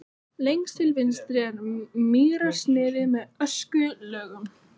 Lengst til vinstri er mýrarsniðið með öskulögum.